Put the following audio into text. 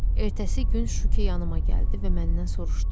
Ertəsi gün Şuki yanıma gəldi və məndən soruşdu: